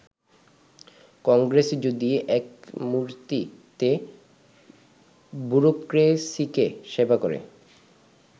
কংগ্রেস যদি ‘এক মূর্তি’তে ব্যুরোক্রেসিকে সেবা করে